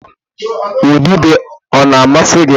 Ududo ọ na-amasị gị?